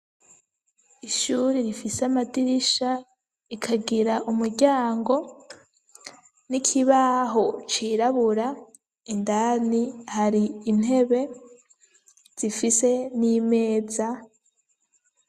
Ishure rifise amadirisha, rikagira umuryango , nikibaho cirabura Indani hari intebe ifise nimeza.